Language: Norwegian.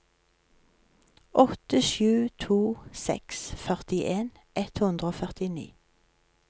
åtte sju to seks førtien ett hundre og førtini